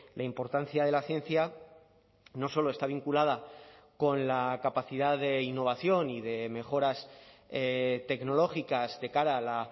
la importancia de la ciencia no solo está vinculada con la capacidad de innovación y de mejoras tecnológicas de cara a la